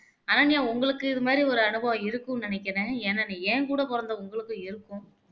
அனன்யா உங்களுக்கு இது மாதிரி ஒரு அனுபவம் இருக்கும்னு நினைக்கிறேன் ஏன்னா நீ என் கூட பிறந்த உங்களுக்கும் இருக்கும்